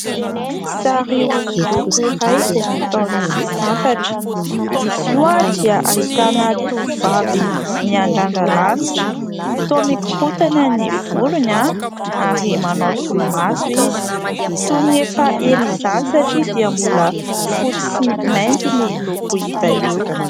Sary hosodoko iray izay nataon' i Santatra. Izy io dia ahitana tovovavy miandrandra lanitra , toa mikorontana ny volony ary manao solomaso izy , toy ny efa ela izany satria dia mbola fotsy sy mainty ny loko hita eo.